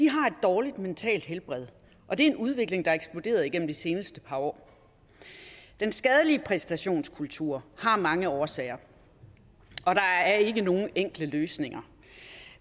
har et dårligt mentalt helbred og det er en udvikling der er eksploderet igennem de seneste par år den skadelige præstationskultur har mange årsager og der er ikke nogen enkle løsninger